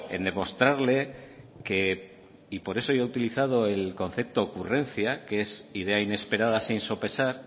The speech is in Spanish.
en demostrarle que y por eso yo he utilizado el concepto ocurrencia que es idea inesperada sin sopesar